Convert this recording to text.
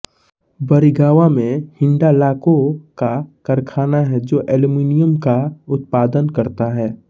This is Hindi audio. बरिगवां मे हिन्डाल्को का कारखाना हैै जो एल्यूूमीनियम का उत्पादन करता है